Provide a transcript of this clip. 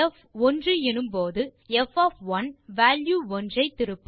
X ஒன்று எனும் போது ப் வால்யூ 1 ஐ திருப்பும் மற்றும் ப் வால்யூ 4 ஐ திருப்பும்